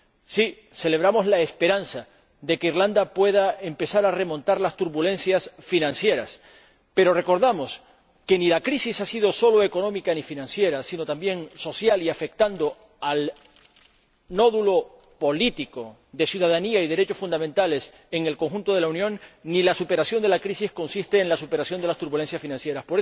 sí, celebramos la esperanza de que Irlanda pueda empezar a remontar las turbulencias financieras, pero recordamos que la crisis no ha sido solo económica y financiera sino también social, que ha afectado al nódulo político de la ciudadanía y los derechos fundamentales en el conjunto de la Unión, y que la superación de la crisis no consiste solo en la superación de las turbulencias financieras.